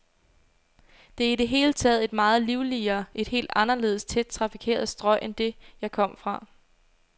Det er i det hele taget et meget livligere, et helt anderledes tæt trafikeret strøg end det, jeg kom fra.